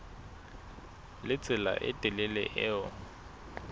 le tsela e telele eo